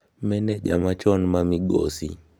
Meneja machon ma Migosi